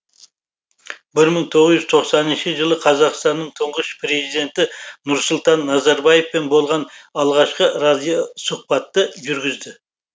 бір мың тоғыз жүз тоқсаныншы жылы қазақстанның тұңғыш президенті нұрсұлтан назарбаевпен болған алғашқы радиосұхбатты жүргізді